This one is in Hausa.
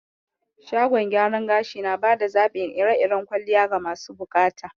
Shagon gyaron gashi nabada zaɓin ire iren kwalliya ga masu buƙata